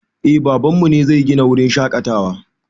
Eh baban mu ne zai gina wurin shaƙatawa